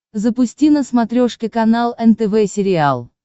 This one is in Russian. запусти на смотрешке канал нтв сериал